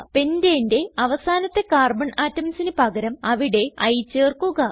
Pentaneന്റെ അവസാനത്തെ കാർബൺ atomsന് പകരം അവിടെ I ചേർക്കുക